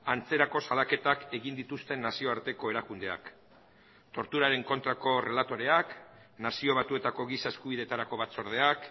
antzerako salaketak egin dituzten nazioarteko erakundeak torturaren kontrako relatoreak nazio batuetako giza eskubidetarako batzordeak